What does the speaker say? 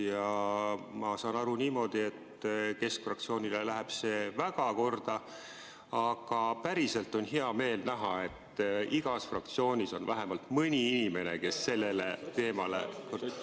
Ja ma saan aru niimoodi, et keskfraktsioonile läheb see väga korda, aga päriselt on hea meel näha, et igas fraktsioonis on vähemalt mõni inimene, kes sellele teemale ...